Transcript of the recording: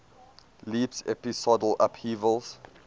leaps episodal upheavals